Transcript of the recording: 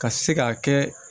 Ka se ka kɛ